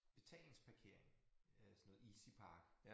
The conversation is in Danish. Betalingsparkering øh sådan noget EasyPark